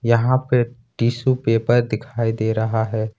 यहां पे tissue paper दिखाई दे रहा है।